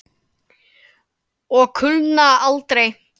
Og kulna aldrei.